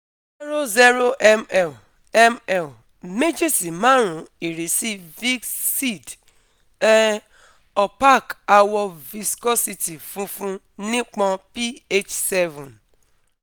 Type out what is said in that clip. zero mL mL meji si marun Irisi Viscid um Opaque Awọ Viscosity funfun Nipọn pH seven